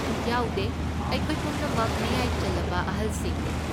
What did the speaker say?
ꯌꯥꯎꯗꯦ, ꯑꯩꯈꯣꯏ ꯄꯨꯝꯅꯃꯛ ꯃꯌꯥꯏ ꯆꯜꯂꯕ ꯑꯍꯜꯁꯤꯡꯅꯤ꯫